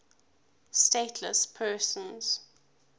stateless persons